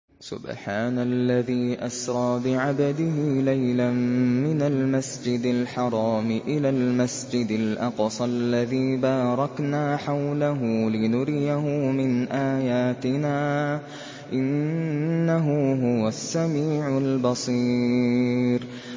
سُبْحَانَ الَّذِي أَسْرَىٰ بِعَبْدِهِ لَيْلًا مِّنَ الْمَسْجِدِ الْحَرَامِ إِلَى الْمَسْجِدِ الْأَقْصَى الَّذِي بَارَكْنَا حَوْلَهُ لِنُرِيَهُ مِنْ آيَاتِنَا ۚ إِنَّهُ هُوَ السَّمِيعُ الْبَصِيرُ